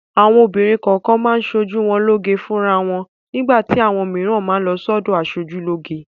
Àwọn obìnrin kọ̀ọ̀kan máa ń ṣoojú wọn lóge fúnra wọn. Nígbà tí àwọn mìíràn má a lọ sọ́dọ̀ aṣojúlóge.